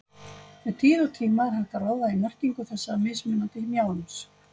Með tíð og tíma er hægt að ráða í merkingu þessa mismunandi mjálms.